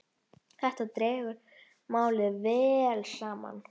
Þetta dregur málið vel saman.